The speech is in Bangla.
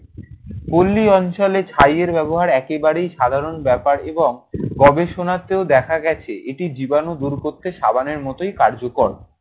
পল্লী অঞ্চলে ছাই এর ব্যবহার একেবারেই সাধারণ ব্যাপার এবং গবেষণাতেও দেখা গেছে এটি জীবাণু দুর করতে সাবানের মতোই কার্যকর।